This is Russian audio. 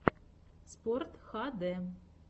спортхд